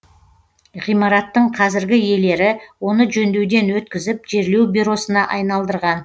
ғимараттың қазіргі иелері оны жөндеуден өткізіп жерлеу бюросына айналдырған